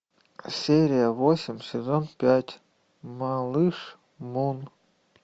серия восемь сезон пять малыш мун